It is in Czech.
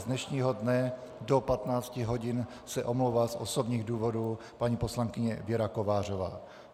Z dnešního dne do 15 hodin se omlouvá z osobních důvodů paní poslankyně Věra Kovářová.